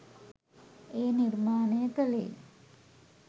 එය නිර්මාණය කළේ